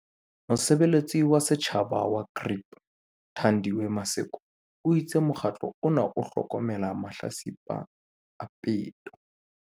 Mosebeletsi wa setjhaba wa GRIP, Thandiwe Maseko, o itse mokgatlo ona o hlokomela mahlatsipa a peto.